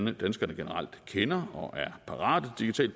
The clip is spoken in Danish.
at danskerne generelt kender og er parate til